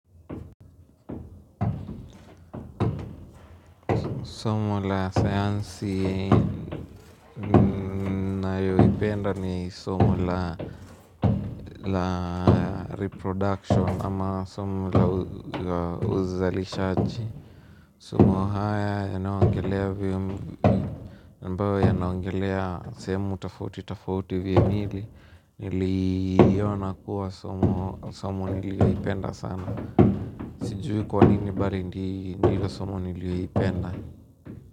Somo la sayansi nayoipenda ni somo la reproduction ama somo la uzalishaji. Somo haya yanyoongelea ambayo yanaongelea sehemu tofauti tofauti vya miili. Niliona kuwa somo nililoipenda sana. Tijui kwa nini bali ndilo sumo niliyoipenda.